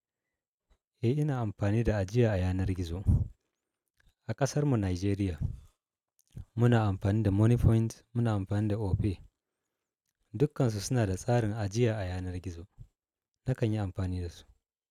Eh ina amfani da ajiya a yanar gizo. A ƙasar mu Nijeriya, muna amfani da Moniepoint, muna amfani da Opay. Dukansu suna da tsarin ajiya a yanar gizo. Nakan yi amfani dasu.